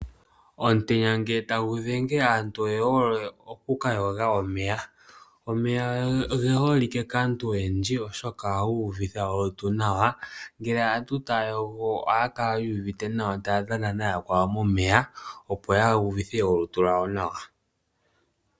Omutenya ngele tagu dhenge aantu oye hole oku ka yoga omeya. Omeya oge holike kaantu oyendji, oshoka ohaga uvitha olutu nawa. Ngele aantu taya yogo ohaya kala yu ivite nawa taya dhana nayakwawo momeya, opo ya uvithe olutu lwawo nawa.